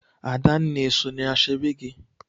Adanna eso na ashebi gị?